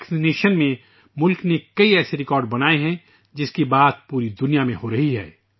ٹیکہ کاری میں ، ملک نے ایسے کئی ریکارڈ بنائے ہیں جن پر پوری دنیا میں بحث ہو رہی ہے